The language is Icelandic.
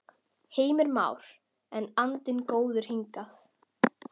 Heimir Már: En andinn góður hingað til?